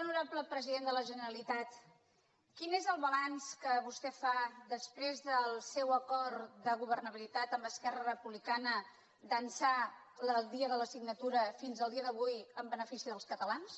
honorable president de la generalitat quin és el balanç que vostè fa després del seu acord de governabilitat amb esquerra republicana d’ençà del dia de la signatura fins al dia d’avui en benefici dels catalans